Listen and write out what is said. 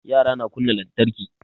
Yara na kunna lantarki